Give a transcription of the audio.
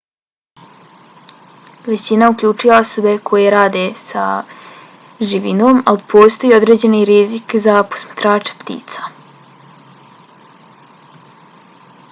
većina uključuje osobe koje rade sa živinom ali postoji i određeni rizik za posmatrače ptica